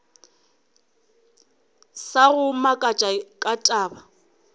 sa go makatša ka taba